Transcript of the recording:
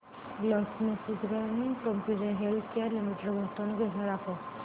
GlaxoSmithKline consumer healthcare limited गुंतवणूक योजना दाखव